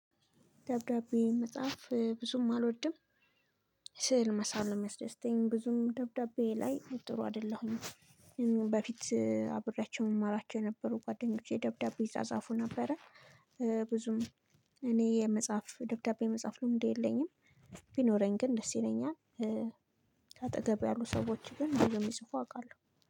ደብዳቤ መጽሐፍ ብዙም አልወድም። ስዕል መሳል ነው እሚያስደስተኝ ብዙም ደብዳቤ ላይ ጥሩ አይደለሁም። በፊት አብሬያቸው እማራቸው የነበሩ ጓደኞቼ ደብዳቤ ይጻጻፉ ነበረ። ብዙም እኔ የመጽሐፍ ደብዳቤ የመጽሐፍ ልምዱ የለኝም። ቢኖረኝ ግን ደስ ይለኛል። ከአጠገብ ያሉ ሰዎች ግን የሚጽፉ አውቃለሁ